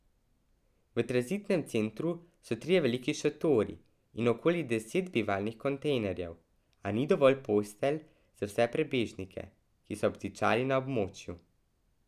V tranzitnem centru so trije veliki šotori in okoli deset bivalnih kontejnerjev, a ni dovolj postelj za vse prebežnike, ki so obtičali na območju.